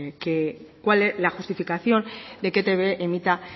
cuál es la justificación de que e i te be emita